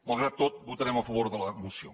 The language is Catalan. malgrat tot votarem a favor de la moció